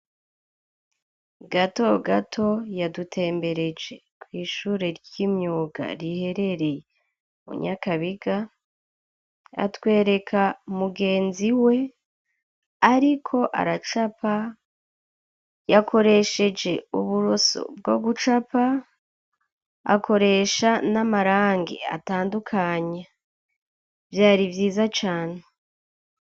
Gato gato yadutembereje kw'ishure ry'imyuga rihereree munyakabiga atwereka mugenzi we, ariko aracapa yakoresheje uburoso bwo gucapae akoresha n'amarangi atandukanya vyari vyiza cane.